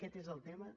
aquest és el tema